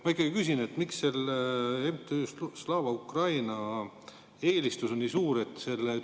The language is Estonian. Ma ikkagi küsin: miks MTÜ Slava Ukraini eelistus on nii suur?